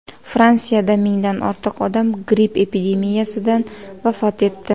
Fransiyada mingdan ortiq odam gripp epidemiyasidan vafot etdi.